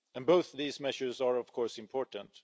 Both of these measures are, of course, important.